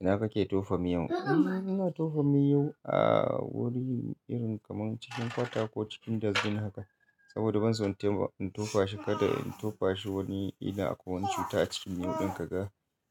Ina kake tofa miyon? Ina tofa miyo a wuri irin kamar cikin kwata ko cikin dazbin haka. Saboda banso in tofa shi kada in tofa shi wani ina akwai wani cuta a cikin miyun kaga